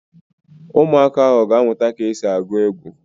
Ụmụaka ahụ ga-amụta ka e si agụ egwu